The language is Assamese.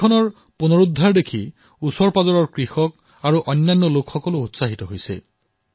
নদী উদ্ধাৰ হোৱা দেখি কৃষকসকল উৎসাহিত হৈ পৰিছে